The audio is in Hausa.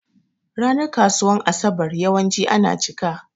Ranan kasuwan asaɓar yawanci yana ciƙa.